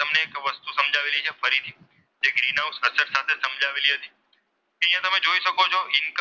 કરી શકો છો .